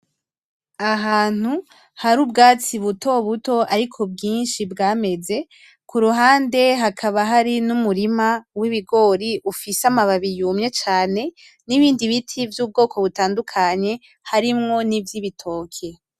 Ahantu hari ubwatsi butobuto ariko bwinshi bwameze, kuruhande hakaba hari numurima w'ibigori ufise amababi yumye cane nibindi biti vy'ubwoko butadukanye hamwo nivy'ibitoke.